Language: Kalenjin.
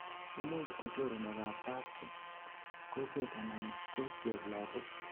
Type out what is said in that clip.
imuch ko choronok ab kapchi, kokwet anan ko cheplagok